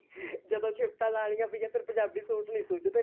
ਜਦੋਂ ਸ਼ਿਫਟਾ ਲਾਉਣੀਆ ਪਈਆਂ ਫ਼ੇਰ ਪੰਜਾਬੀ ਸੂਟ ਨੀ ਸੁਝਦੇ